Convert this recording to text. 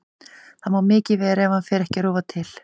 Það má mikið vera ef hann fer ekki að rofa til.